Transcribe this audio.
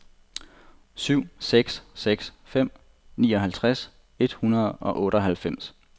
syv seks seks fem nioghalvtreds et hundrede og otteoghalvfems